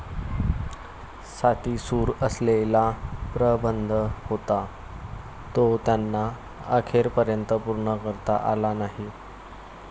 साती सूर असलेला प्रबंध होता, तो त्यांना अखेरपर्यंत पूर्ण करता आला नाही.